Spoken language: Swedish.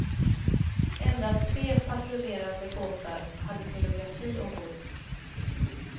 Endast de tre patrullerande båtarna hade telegrafi ombord.